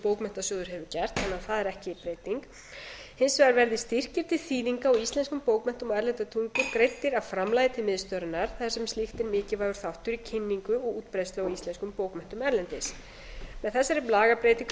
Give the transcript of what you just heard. bókmenntasjóður hefur gert þannig að það er ekki breyting hins vegar verði styrkir til þýðinga á íslenskum bókmenntum á erlendri tungu greiddir af framlagi til miðstöðvarinnar þar sem snýst um er mikilvægur þáttur í kynningu og útbreiðslu á íslenskum bókmenntum erlendis með þessari lagabreytingu er